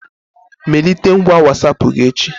Melite ngwa Wasapụ gị echi